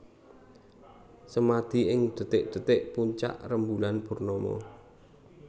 Semadi ing dhetik dhetik puncak rembulan purnama